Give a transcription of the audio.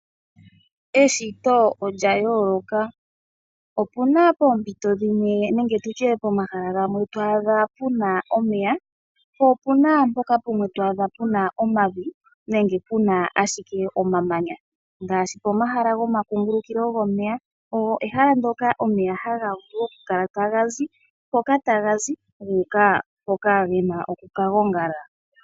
Eshito olya yooloka, opuna poompito dhimwe nenge tutye pomahala gamwe twaa dhapuna omeya po opuna pamwe mpono twadha puna omavi nenge puna ashike omamamya, ngashi pomahala gomakungulukilo gomeya, ehala ndyoka omeya haga vulu oku kala tagazi hoka ta gazi guuka hoka gena oku ka gongala.